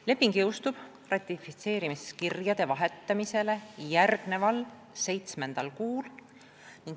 Leping jõustub ratifitseerimiskirjade vahetamisele järgneval seitsmendal kuul.